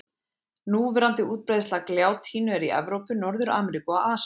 Núverandi útbreiðsla gljátínu er í Evrópu, Norður-Ameríku og Asíu.